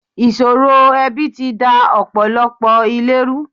Ìṣòro ẹbi ti da ọ̀pọ̀lọpọ̀ ilé ru.